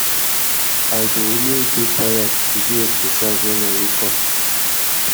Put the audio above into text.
i dey always dey tired to do exercise wen i wake up